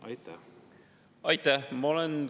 Aitäh!